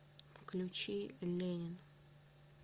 включи ленин